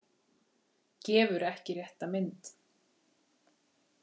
Gefur ekki rétta mynd